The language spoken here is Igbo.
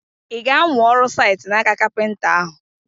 I ga-amụ ọrụ site n'aka kapịnta ahụ?